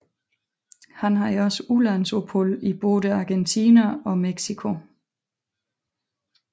Han havde også udlandsophold i både Argentina og Mexico